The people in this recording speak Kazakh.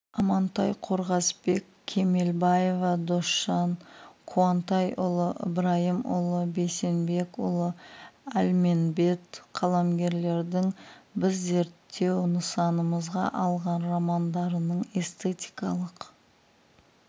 амантай қорғасбек кемелбаева досжан қуантайұлы ыбырайымұлы бейсенбекұлы әлменбет қаламгерлердің біз зерттеу нысанымызға алған романдарының эстетикалық